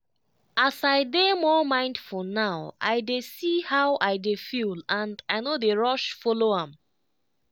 as i dey more mindful now i dey see how i dey feel and i no dey rush follow am.